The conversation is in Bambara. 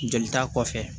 Joli ta kɔfɛ